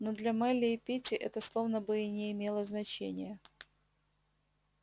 но для мелли и питти это словно бы и не имело значения